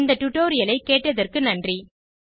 இந்த டுடோரியலை கேட்டதற்கு நன்றி